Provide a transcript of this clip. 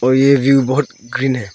और ये व्यू बहुत ग्रीन है।